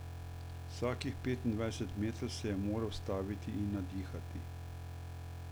Vsakih petindvajset metrov se je moral ustaviti in nadihati.